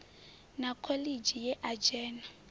na khoḽidzhi ye a dzhena